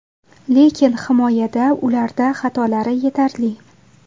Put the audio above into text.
Lekin himoyada ularda xatolari yetarli.